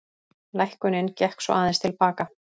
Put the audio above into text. Lækkunin gekk svo aðeins til baka